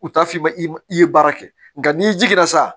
U t'a f'i ma i ye baara kɛ nka n'i jija